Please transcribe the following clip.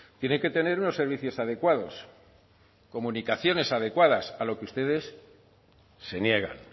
tiene que tener unos servicios adecuados comunicaciones adecuadas a lo que ustedes se niegan